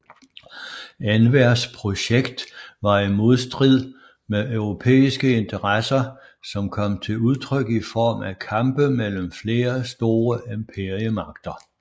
Envers projekt var i modstrid med europæiske interesser som kom til udtryk i form af kampe mellem flere store imperiemagter